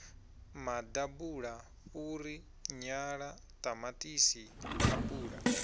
maḓabula fhuri nyala ṱamaṱisi apula